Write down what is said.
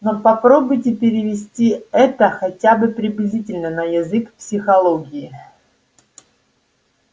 но попробуйте перевести это хотя бы приблизительно на язык психологии